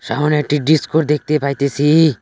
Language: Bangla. এহনে একটি ডিসকো দেখতে পাইতেসি।